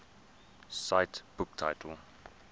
cite book title